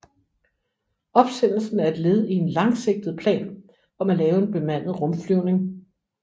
Opsendelsen er et led i en langsigtet plan om at lave en bemandet rumflyvning